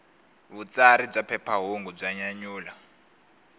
vutsari bya phephahungu bya nyanyula